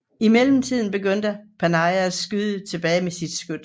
I mellemtiden begyndte Panay at skyde tilbage med sit skyts